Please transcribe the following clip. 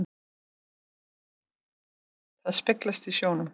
Það speglast í sjónum.